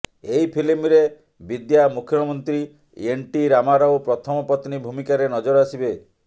ଏହି ଫିଲ୍ମରେ ବିଦ୍ୟା ମୁଖ୍ୟମନ୍ତ୍ରୀ ଏନ ଟି ରାମା ରାଓ ପ୍ରଥମ ପତ୍ନୀ ଭୂମିକାରେ ନଜର ଆସିବେ